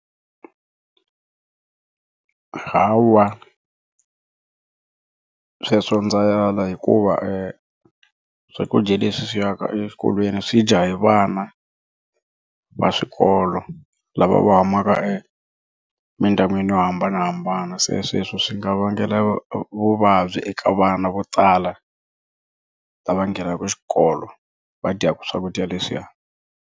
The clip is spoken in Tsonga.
Hawa sweswo ndza ala hikuva swakudya leswi swi ya ka eswikolweni swi dya hi vana va swikolo lava va humaka emindyangwini yo hambanahambana se sweswo swi nga vangela vuvabyi eka vana vo tala va ngenaka xikolo va dyaka swakudya leswiya.